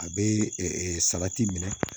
A bɛ salati minɛ